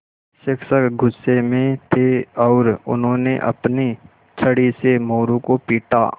शिक्षक गुस्से में थे और उन्होंने अपनी छड़ी से मोरू को पीटा